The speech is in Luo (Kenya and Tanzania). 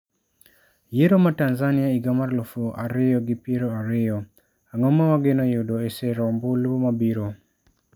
Yiero ma Tanzania higa mar 2020; Ang'o ma wageno yudo e sero ombulu mabiro?